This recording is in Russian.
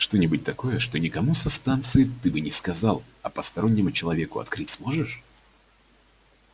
что-нибудь такое что никому со станции ты бы не сказал а постороннему человеку открыть сможешь